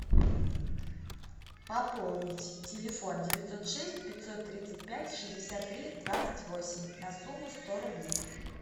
пополнить телефон девятьсот шесть пятьсот тридцать пять шестьдесят три двадцать восемь на сумму сто рублей